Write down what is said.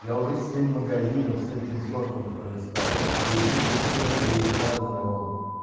я уже семь магазинов с этим сортом пролистал и у них у всех будет разный он